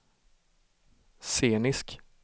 scenisk